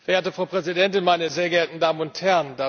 Frau Präsidentin, meine sehr geehrten Damen und Herren!